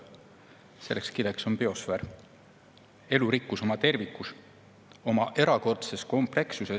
Selleks kileks on biosfäär – elurikkus oma tervikus, oma erakordses komplekssuses.